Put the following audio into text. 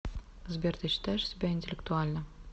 сбер ты считаешь себя интеллектуальным